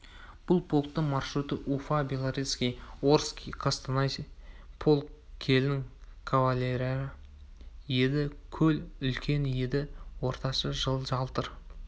бұл полктың маршруты уфа белорецкий орский қостанай -полк кілең кавалерия еді көл үлкен еді ортасы жалтыр